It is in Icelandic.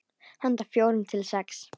Handa fjórum til sex